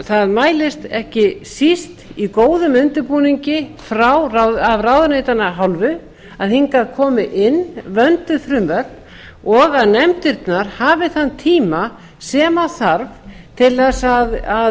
það mælist ekki síst í góðum undirbúningi af ráðuneytanna hálfu að hingað komi inn vönduð frumvörp og að nefndirnar hafi þann tíma sem þarf til þess að